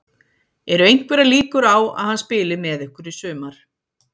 Eru einhverjar líkur á að hann spili með ykkur í sumar?